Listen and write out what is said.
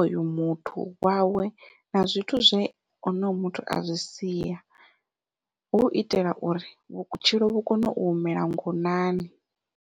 oyo muthu wawe na zwithu zwe onoyo muthu a zwi sia hu u itela uri vhutshilo vhu kone u humela ngonani.